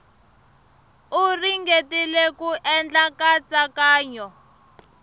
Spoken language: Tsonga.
u ringetile ku endla nkatsakanyo